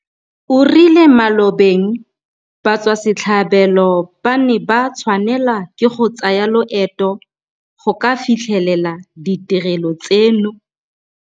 O rile mo malobeng batswasetlhabelo ba ne ba tshwanelwa ke go tsaya loeto go ka fitlhelela ditirelo tseno.